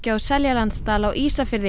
á Seljalandsdal á Ísafirði